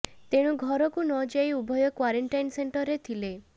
ତେଣୁ ଘରକୁ ନ ଯାଇ ଉଭୟ କ୍ୱାରେଣ୍ଟିନ୍ ସେଣ୍ଟରରେ ଥିଲେ